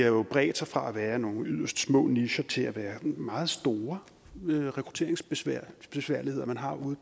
jo bredt sig fra at være nogle yderst små nicher til at være meget store rekrutteringsbesværligheder man har ude